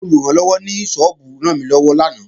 Olùrànlọ́wọ́ ní sọ́ọ́bù rànmílọ́wọ́ lánàá